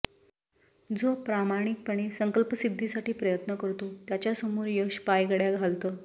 जो प्रामाणिकपणे सकंल्पसिद्धीसाठी प्रयत्न करतो त्याच्यासमोर यश पायघडय़ा घालतं